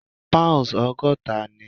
Pound ogọ́ta ni.